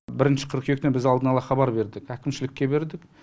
бірінші қыркүйектен біз алдын ала хабар бердік әкімшілікке бердік